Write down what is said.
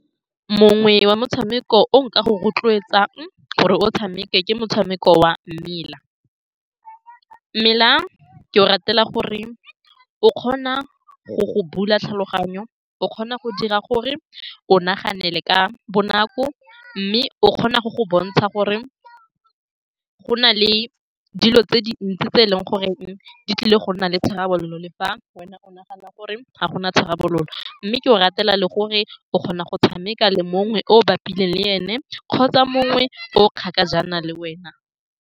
Mongwe wa motshameko o nka go rotloetsang gore o o tshameke ke motshameko wa mmela-m mela. Ke o ratela, gore o kgona go go bula tlhaloganyo, o kgona go dira gore o nagane le ka bonako, mme o kgona go go bontsha gore go na le dilo tse dintsi tse e leng gore di tlile go nna le tharabololo, le fa wena o nagana gore ga go na tharabololo, mme ke o ratela le gore o kgona go tshameka le mongwe oo bapileng le ene kgotsa mongwe oo kgakajana le wena.